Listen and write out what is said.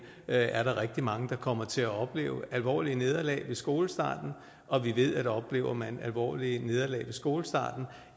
er er der rigtig mange der kommer til at opleve alvorlige nederlag ved skolestarten og vi ved at oplever man alvorlige nederlag ved skolestarten